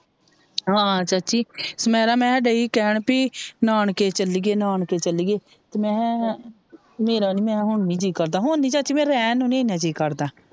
ਹਾਂ ਚਾਚੀ ਸਮੇਰਾ ਮਹਿਰ ਏਹੀ ਕਹਿਣ ਭੇਇ ਨਾਨਕੇ ਚੱਲੀਏ ਨਾਨਕੇ ਚੱਲੀਏ ਤੇ ਮੇਹੇਆ ਮੇਰਾ ਨੀ ਮੇਹੇਆ ਹੁਣ ਨੀ ਜੀ ਕਰਦਾ ਹੁਣ ਨੀ ਚਾਚੀ ਮੇਰਾ ਰਹਿਣ ਨੂ ਏਨਾ ਜੀ ਕਰਦਾ।